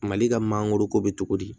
Mali ka mangoro ko bɛ cogo di